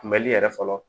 Kunbɛli yɛrɛ fɔlɔ